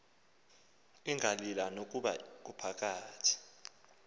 ingalila nokuba kuphakathi